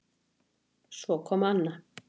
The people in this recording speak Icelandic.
Svo kom Anna